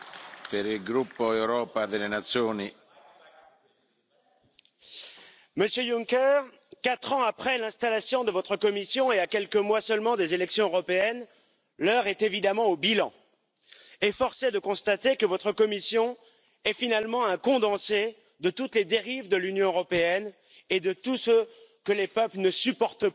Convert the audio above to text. Monsieur le Président, Monsieur Juncker, quatre ans après l'installation de votre Commission, et à quelques mois seulement des élections européennes, l'heure est évidemment au bilan, et force est de constater que votre Commission est finalement un condensé de toutes les dérives de l'Union européenne et de tout ce que les peuples ne supportent plus aujourd'hui.